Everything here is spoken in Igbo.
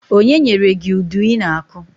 Onye nyere gị udu i na- akụ?